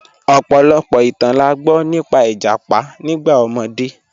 Ọ̀pọ̀lọ̀pọ̀ ìtàn là gbọ nípà ìjápá nígbà omọdé.